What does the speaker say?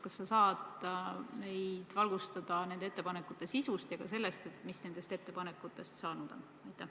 Kas sa saad meile valgustada nende ettepanekute sisu ja ka seda, mis nendest ettepanekutest saanud on?